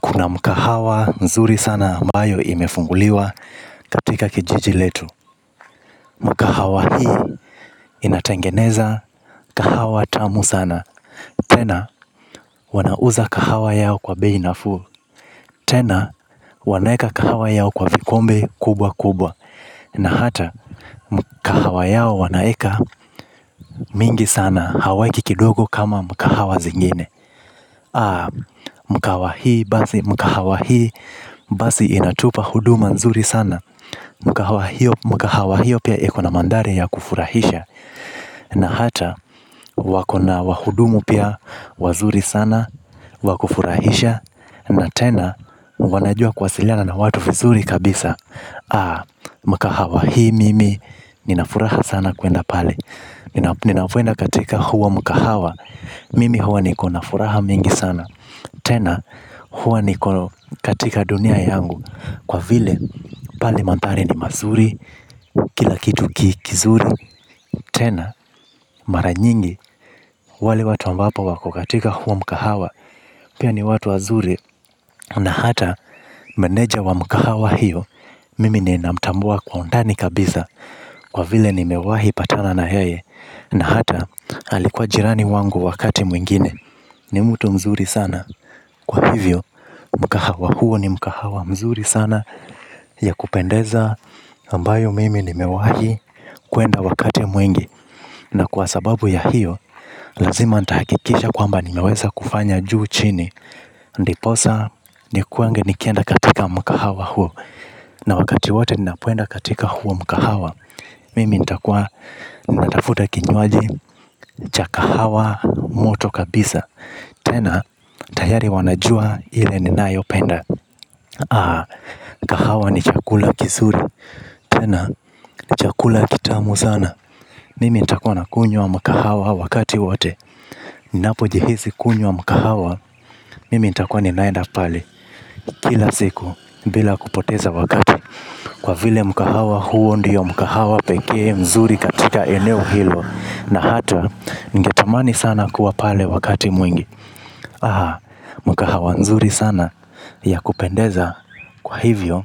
Kuna mkahawa mzuri sana ambayo imefunguliwa katika kijiji letu. Mkahawa hii inatengeneza, kahawa tamu sana. Tena, wanauza kahawa yao kwa bei nafuu. Tena, wanaeka kahawa yao kwa vikombe kubwa kubwa. Na hata mkahawa yao wanaeka mingi sana hawaeki kidogo kama mkahawa zengine. Aa, mkahawa hii basi, mkahawa hii basi inatupa huduma mzuri sana. Mkahawa hiyo pia iko na mandhari ya kufurahisha. Na hata wako na wahudumu pia wazuri sana wa kufurahisha na tena wanajua kuwasiliana na watu vizuri kabisa. Mkahawa hii mimi nina furaha sana kuenda pale. Ninapoenda katika huo mkahawa mimi huwa niko na furaha mingi sana. Tena huwa niko katika dunia yangu. Kwa vile pale manthari ni mazuri, kila kitu kizuri, tena mara nyingi wale watu ambapo wako katika huo mkahawa pia ni watu wazuri na hata meneja wa mkahawa hiyo mimi ninamtamua kwa undani kabiza. Kwa vile nimewahi patana na yeye na hata alikuwa jirani wangu wakati mwingine. Ni mtu mzuri sana kwa hivyo mkahawa huo ni mkahawa mzuri sana. Ya kupendeza ambayo mimi nimewai kwenda wakati mwingi. Na kwa sababu ya hiyo, lazima nitahakikisha kwamba nimeweza kufanya juu chini. Ndiposa nikuange nikienda katika mkahawa huo. Na wakati wote ninapoenda katika huo mkahawa. Mimi nitakuwa natafuta kinywaji cha kahawa moto kabisa. Tena, tayari wanajua ile ninayopenda. Ah, kahawa ni chakula kizuri. Tena, ni chakula kitamu sana mimi ntakua nakunywa mkahawa wakati wote. Ninapojihisi kunywa mkahawa. Mimi ntakuwa ninaenda pale. Kila siku, bila kupoteza wakati. Kwa vile mkahawa huo ndio mkahawa pekee mzuri katika eneo hilo. Na hata, ningetamani sana kuwa pale wakati mwingi. Aha, mkahawa mzuri sana. Ya kupendeza, kwa hivyo.